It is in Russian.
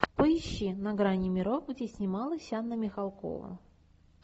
поищи на грани миров где снималась анна михалкова